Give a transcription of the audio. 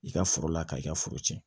I ka foro la ka i ka foro cɛn